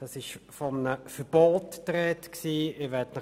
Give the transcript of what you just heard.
Es war die Rede von einem Verbot.